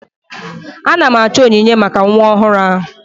Ana m achọ onyinye maka nwa ọhụrụ ahụ.